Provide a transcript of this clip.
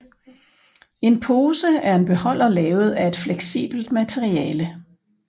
En pose er en beholder lavet af et fleksibelt materiale